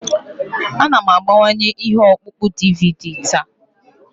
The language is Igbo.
Ana m agbanwe ihe ọkpụkpọ DVD taa.